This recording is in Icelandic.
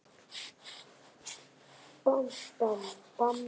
Breskir hermenn í biðröð.